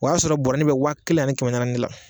O y'a sɔrɔ bɔrɛnin bɛ waa kelen ani kɛmɛ nani de la.